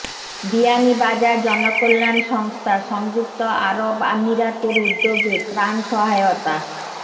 বিয়ানীবাজার জনকল্যাণ সংস্থা সংযুক্ত আরব আমিরাতের উদ্যোগে ত্রাণ সহায়তা